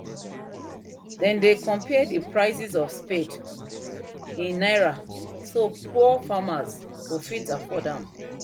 them dey compare the prices of spade in naira so poor farmers go fit afford am